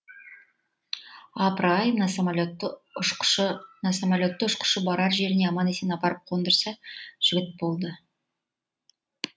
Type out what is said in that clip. апыр ай мына самолетті ұшқышы барар жеріне аман есен апарып қондырса жігіт болды